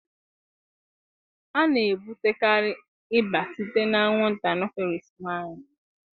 A na-ebutekarị ịba site na anwụnta Anọfelịsị nwanyị